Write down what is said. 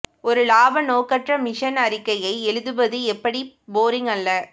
ஒரு லாப நோக்கற்ற மிஷன் அறிக்கையை எழுதுவது எப்படி போரிங் அல்ல